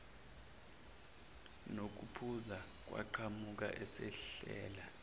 nokuphuza waqhamuka esehleka